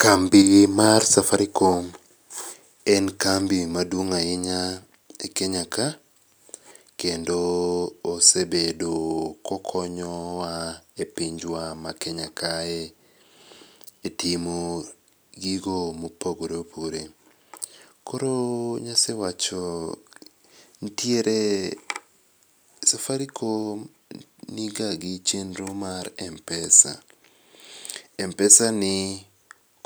Kambi mar safaricom en kambi maduong' ahinya e Kenya ka, kendo osebedo kokonyowa e pinjwa ma Kenya kae e timo gigo mopogoreopogore. Koro nasewacho, safaricom niga gi chenro mar M-Pesa. M-Pesa ni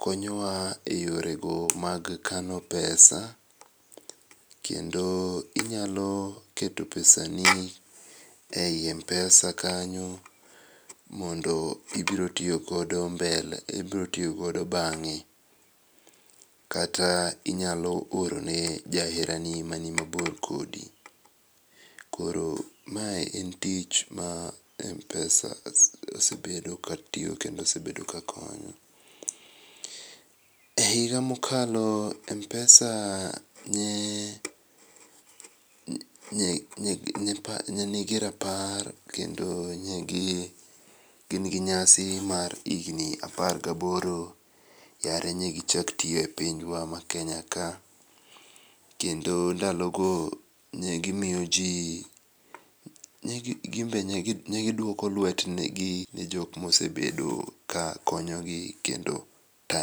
konyowa e yorego mag kano pesa, kendo inyalo keto pesani ei M-Pesa kanyo, mondo ibro tiyogodo mbele, ibro tiyogodo bang'e kata inyalo orone jaherani mani mabor kodi. Koro ma en tich ma M-Pesa osebedo katiyo kendo osebedo kakonyo.E higa mokalo M-Pesa nye nigi rapar kendo nye gin gi nyasi mar higni apar gaboro yare nye gichak tiyo e pinjwa ma Kenya ka kendo ndalogo nyegimiyo jii nye giduoko lwetgi ne jok mosebedo ka konyogi kendo tayo.